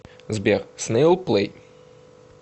сбер снэйл плэй